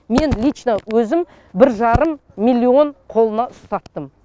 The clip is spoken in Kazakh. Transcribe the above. мен лично өзім бір жарым миллион қолына ұстаттым